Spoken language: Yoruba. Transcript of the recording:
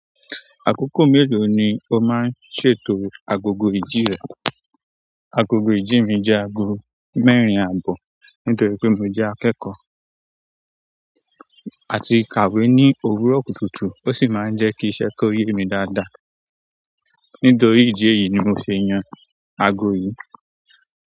Àkókò mélòó ni o máa ń ṣètò agogo ìjì rẹ? Agogo ìjì mi jẹ́ aago mẹ́rin àbọ̀ nítorí pé mo jẹ́ akẹ́kọ̀ọ́ àti kàwé ní òwúrọ̀ kùtùkùtù, ó sì máa ń jẹ́ kí iṣẹ́ ki o yemi dáadáa. Nítorí ìdí èyí ni mo fi yan aago yìí.